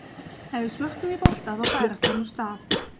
Ef við spörkum í bolta þá færist hann úr stað.